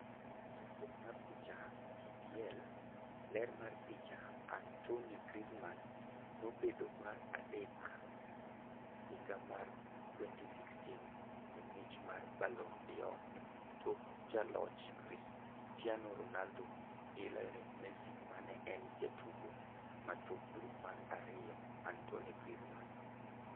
Chakruok mar picha, EPA Ler mar picha, Antoine Griezmann nobedo mar adek higa mar 2016 e mich mar Ballon d'Or, tok ja loch Cristiano Ronaldo gi Lionel Messi mane en jatugo ma tuklu mar ariyo: Antoine Griezmann.